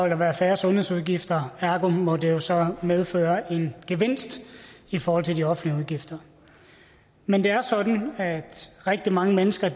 der være færre sundhedsudgifter og ergo må det jo så medføre en gevinst i forhold til de offentlige udgifter men det er sådan at rigtig mange mennesker